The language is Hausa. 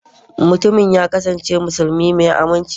mutumin ya kasance musulmi mai aminci